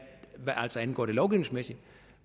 angår det lovgivningsmæssige